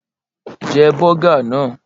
Jẹ́ bọ́gà náà!